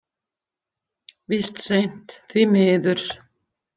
Víst seint, því miður.